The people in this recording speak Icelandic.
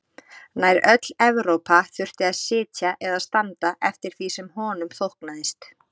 Nær öll Evrópa þurfti að sitja eða standa eftir því sem honum þóknaðist.